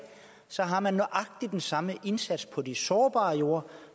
så har man nøjagtig den samme indsats på de sårbare jorder